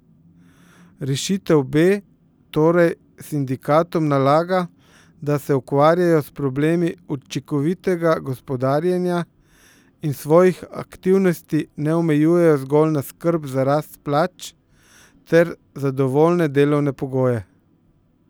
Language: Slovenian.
Rešitev B torej sindikatom nalaga, da se ukvarjajo s problemi učinkovitega gospodarjenja in svojih aktivnosti ne omejujejo zgolj na skrb za rast plač ter zadovoljive delovne pogoje.